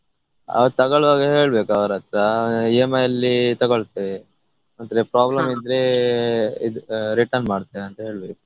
ಅದು ತಗೊಳುವಾಗನೆ ಹೇಳ್ಬೇಕು ಅವರತ್ರ EMI ಅಲ್ಲಿ ತಗೊಳ್ತೇವೆ ಮತ್ತೆ problem ಇದ್ರೆ ಇದು return ಮಾಡ್ತೇವೆ ಅಂತ ಹೇಳ್ಬೇಕು.